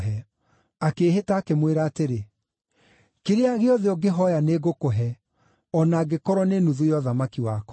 Akĩĩhĩta, akĩmwĩra atĩrĩ, “Kĩrĩa gĩothe ũngĩhooya nĩngũkũhe, o na angĩkorwo nĩ nuthu ya ũthamaki wakwa.”